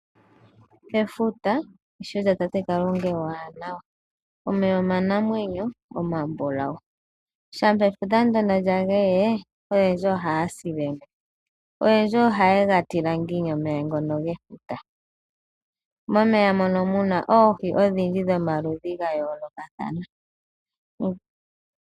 Efuta, eshito lyatate Kalunga eewaanawa. Omeya omanamwenyo omabulawu. Shampa efuta lya geye, oyendji ohaya sile mo. Oyendji ohaye ga tila ngiini omeya ngoka gefuta. Momeya mono mu na oohi odhindji dhomaludhi ga yoolokathana.